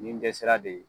Nin dɛsɛra de ye